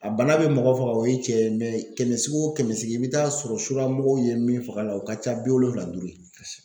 A bana bɛ mɔgɔ faga o ye tiɲɛ ye kɛmɛ sigi kɛmɛ o sigi i bɛ t'a sɔrɔ suramɔgɔw ye min faga a la o ka ca bi wolonfwula ni duuru ye